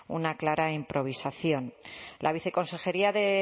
una clara improvisación la viceconsejería de